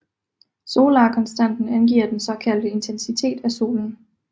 Solarkonstanten angiver den såkaldte intensitet af solen